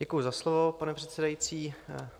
Děkuji za slovo, pane předsedající.